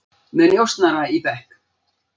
Með njósnara í bekk